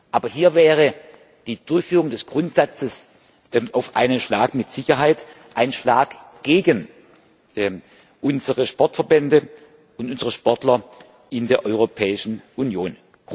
Aber hier wäre die Durchführung des Grundsatzes auf einen Schlag mit Sicherheit ein Schlag gegen unsere Sportverbände und unsere Sportler in der Europäischen Union.